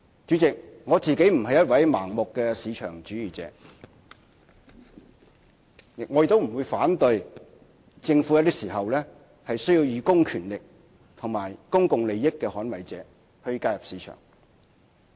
主席，我不是一位盲目的市場主義者，亦不會反對政府有些時候需要以公權力及以公共利益捍衞者的角色介入市場。